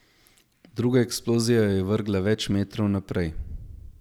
Druga eksplozija jo je vrgla več metrov naprej.